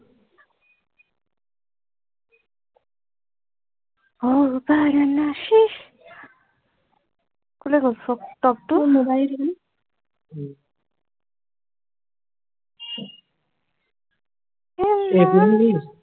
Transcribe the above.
অহ বাৰ নাচি কলৈ গল ফ্ৰক টপটো উম এইটো নি